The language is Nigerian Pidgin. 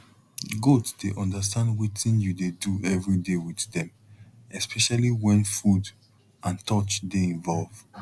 goat dey understand wetin you dey do every day with dem especially wen food and touch dey involve